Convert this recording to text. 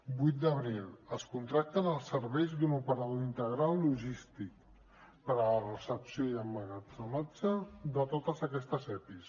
vuit d’abril es contracten els serveis d’un operador integral logístic per a la recepció i emmagatzematge de tots aquests epis